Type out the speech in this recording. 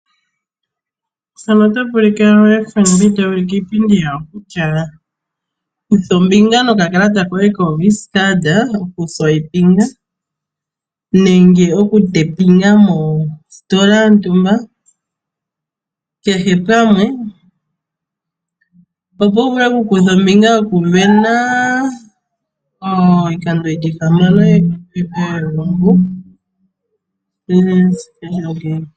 FNB ota ulike iipindi yawo kutya kutha ombinga nokakalata koye koVisa mokufuta iilandomwa yoye mositola yontumba, kehe pamwe, opo wu vule okukutha ombinga mokusindana iikando yi li ihamano yegumbo moEPIC.